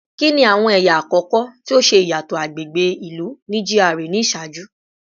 Kini awọn ẹya akọkọ ti o ṣe iyatọ agbegbe ilu ni GRA ni iṣaaju?